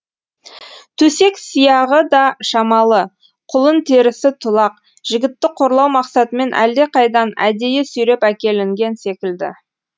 төсек сияғы да шамалы құлын терісі тулақ жігітті қорлау мақсатымен әлдеқайдан әдейі сүйреп әкелінген секілді